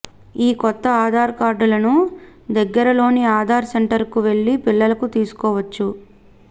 ఈ కొత్త ఆధార్ కార్డులను దగ్గరిలోని ఆధార్ సెంటర్కు వెళ్లి పిల్లలకు తీసుకోవచ్చు